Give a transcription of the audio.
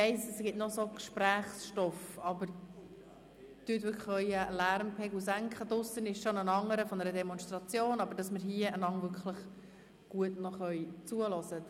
Ich weiss, es gibt noch so einiges an Gesprächsstoff, aber senken Sie bitte Ihren Lärmpegel, damit wir einander wirklich noch gut zuhören können.